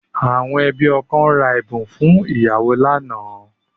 Àwọn ẹbí ọkọ ra ẹ̀bùn fún ìyàwó lánàá